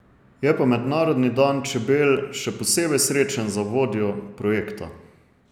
Je pa mednarodni dan čebel še posebej srečen za vodjo projekta.